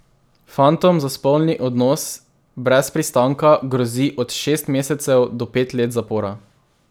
Fantom za spolni odnos brez pristanka grozi od šest mesecev do pet let zapora.